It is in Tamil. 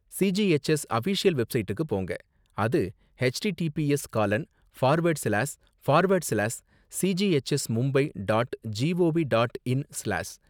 சிஜிஹெச்எஸ் அஃபீஷியல் வெப்சைட்டு போங்க, அது HTTPS gallon forward slash forward சிலாஸ் சிஜிஹெச்எஸ்மும்பை dot gov dot in சிலாஸ்